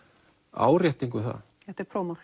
árétting um það þetta er